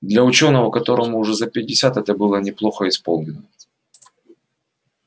для учёного которому уже за пятьдесят это было неплохо исполнено